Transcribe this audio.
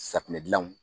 Safunɛ gilanw